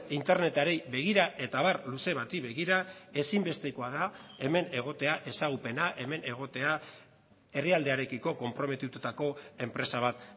internetari begira eta abar luze bati begira ezinbestekoa da hemen egotea ezagupena hemen egotea herrialdearekiko konprometitutako enpresa bat